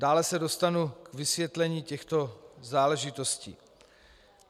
Dále se dostanu k vysvětlení těchto záležitostí.